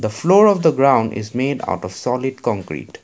the floor of the ground is made of the solid concrete.